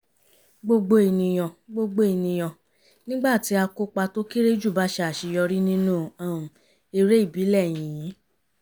gbogbo ènìyàn gbogbo ènìyàn nígbà tí akópa tó kéré jù bá ṣe àṣeyọrí nínú um eré ìbílẹ̀ yíyí